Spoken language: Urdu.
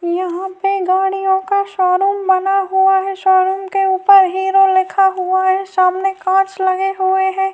یھاں پی گاڑیوں کا شو روم بنا ہوا ہے، شو روم ک اپر ہیرو لکھا ہوا ہے، سبمے کانچ لگا ہوا ہے-